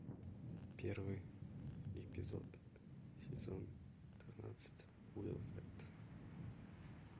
первый эпизод сезон тринадцать уилфред